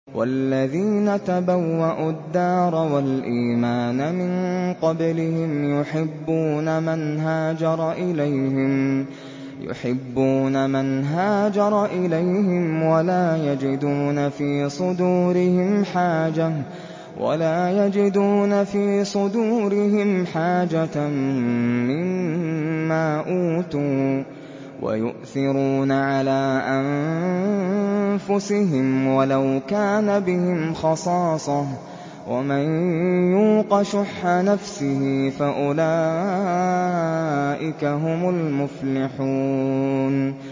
وَالَّذِينَ تَبَوَّءُوا الدَّارَ وَالْإِيمَانَ مِن قَبْلِهِمْ يُحِبُّونَ مَنْ هَاجَرَ إِلَيْهِمْ وَلَا يَجِدُونَ فِي صُدُورِهِمْ حَاجَةً مِّمَّا أُوتُوا وَيُؤْثِرُونَ عَلَىٰ أَنفُسِهِمْ وَلَوْ كَانَ بِهِمْ خَصَاصَةٌ ۚ وَمَن يُوقَ شُحَّ نَفْسِهِ فَأُولَٰئِكَ هُمُ الْمُفْلِحُونَ